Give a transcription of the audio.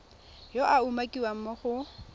yo a umakiwang mo go